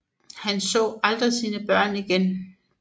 Han så aldrig sine børn igen